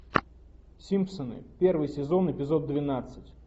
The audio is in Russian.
симпсоны первый сезон эпизод двенадцать